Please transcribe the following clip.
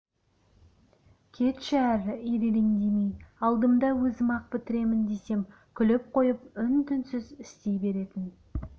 кетші әрі ирелеңдемей алдымда өзім-ақ бітіремін десем күліп қойып үн-түнсіз істей беретін